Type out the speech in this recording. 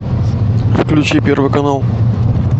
включи первый канал